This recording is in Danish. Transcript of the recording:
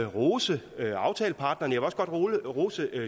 rose aftaleparterne og jeg rose